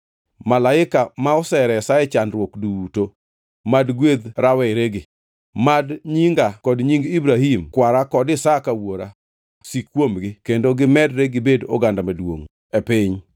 Malaika ma oseresa e chandruok duto mad gwedh raweregi. Mad nyinga kod nying Ibrahim kwara kod Isaka wuora sik kuomgi, kendo gimedre gibed oganda maduongʼ e piny.”